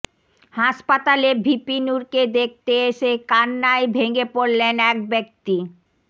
হাসপাতালে ভিপি নুরকে দেখতে এসে কান্নায় ভেঙে পড়লেন এক ব্যক্তি